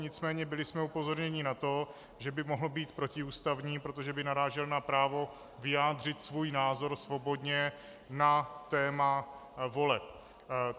Nicméně byli jsme upozorněni na to, že by mohl být protiústavní, protože by narážel na právo vyjádřit svůj názor svobodně na téma voleb.